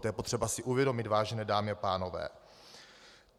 To je potřeba si uvědomit, vážené dámy a pánové.